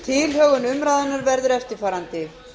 tilhögun umræðunnar verður eftirfarandi